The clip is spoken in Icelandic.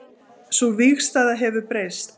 Sú vígstaða hefur breyst